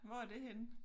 Hvor er det henne?